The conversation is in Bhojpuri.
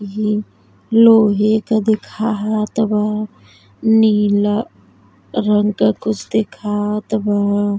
ही लोहे क देख हात बा। नीला रंग क कुछ देखात बा।